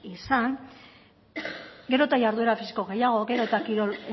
esan gero eta jarduera fisiko gehiago gero eta kirol